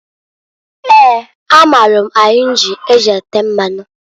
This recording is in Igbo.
Eeǃ A maalụ ahinji e ji ete mmanu.